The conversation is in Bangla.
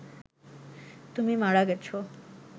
তুমি মারা গেছ